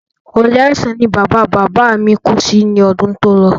Orí àìsàn ni bàba bàbá mi kú sí ní ọdún tí o lọ